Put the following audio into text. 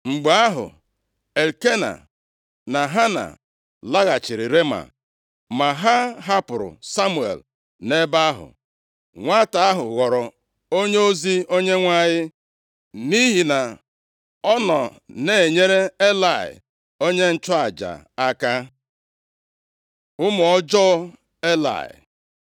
Mgbe ahụ, Elkena na Hana laghachiri Rema, ma ha hapụrụ Samuel nʼebe ahụ. Nwata ahụ ghọrọ onyeozi Onyenwe anyị, nʼihi na ọ nọ na-enyere Elayị onye nchụaja aka. Ụmụ ọjọọ Elayị